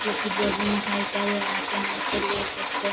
क्योकि जो भी मिठाई चाहिए आप यहाँ से ले सकते है। .